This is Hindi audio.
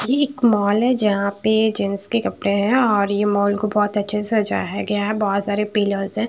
ये एक मॉल है जहाँं पे जेन्टस के कपड़े हैं और ये मॉल को बहुत अच्छे से सजाया गया है बहुत सारे पिल्लरस हैं।